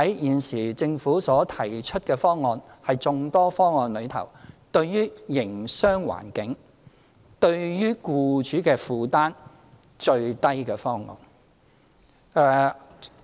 現時政府所提出的方案，是在眾多方案中對營商環境影響最小，對僱主帶來最低負擔的一個。